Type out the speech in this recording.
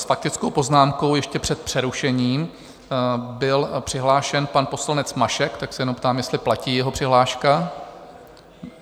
S faktickou poznámkou ještě před přerušením byl přihlášen pan poslanec Mašek, tak se jenom ptám, jestli platí jeho přihláška?